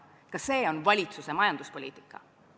Ka see on valitsuse majanduspoliitika.